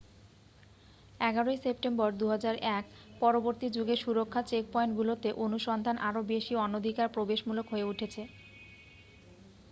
11 ই সেপ্টেম্বর 2001-পরবর্তী যুগে সুরক্ষা চেকপয়েন্টগুলোতে অনুসন্ধান আরও বেশি অনধিকার প্রবেশমূলক হয়ে উঠেছে